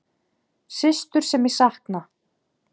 Systur sem ég sakna.